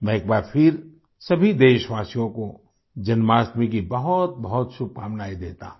मैं एक बार फिर सभी देशवासियों को जन्माष्टमी की बहुतबहुत शुभकामनाएँ देता हूँ